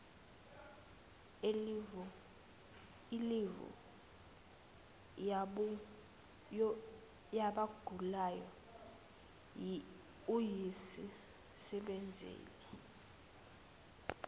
ilivu yabagulayo uyisebenzisele